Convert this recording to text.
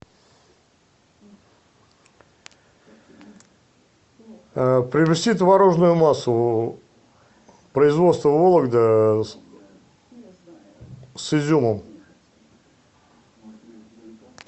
привезти твороднуб массу производства вологда с изюмом